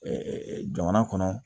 jamana kɔnɔ